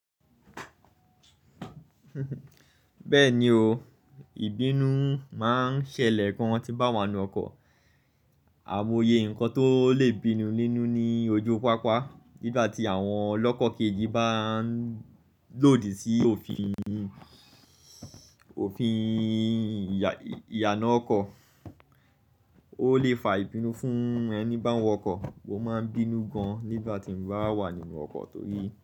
Bẹ́ẹ̀ni o, ìbínú máa ń ṣẹlẹ̀ gán tí bá wà nínú ọkọ́. Àmoye nǹkan tó lè bínú nínú ní ojú pápá nígbà tí àwọn ọlọ́kọ́ kejì bá ń lòdì sí òfin ìyànà ọkọ́, ó lè fa ìbínú fún ẹni bá wọ ọkọ́, wò máa ń bínú gan nígbà tí mo bá wà nínú ọkọ́ torí.